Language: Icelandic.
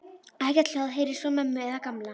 Ekkert hljóð heyrðist frá ömmu eða Gamla.